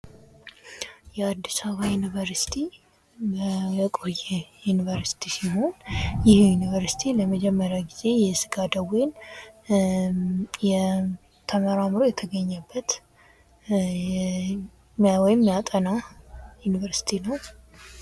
የአዲስ አበባ ዩኒቨርሲቲ የቆየ ዩንቨርስቲ ሲሆን ይህ ዩንቨርስቲ ለመጀመሪያ ጊዜ የስጋ ደዌን ተመራምሮ የተገኘበት ወይም ሚያጠና ዩንቨርስቲ ነው ።